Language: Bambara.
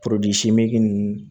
ninnu